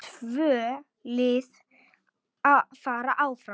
Tvö lið fara áfram.